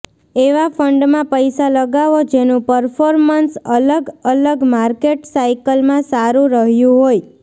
એવા ફંડમાં પૈસા લગાવો જેનું પરફોર્મન્સ અલગ અલગ માર્કેટ સાઈકલમાં સારૂ રહ્યું હોય